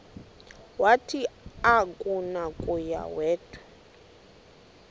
wathi akunakuya wedw